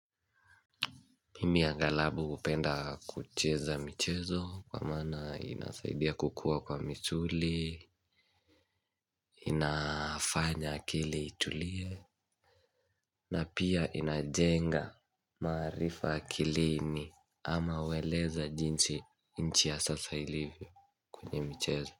Mimi ya angalau hupenda kucheza michezo kwa maana inasaidia kukua kwa misuli inafanya akili itulie na pia inajenga maarifa akilini ama ueleze jinsi nchi ya sasa ilivyo kwenye michezo.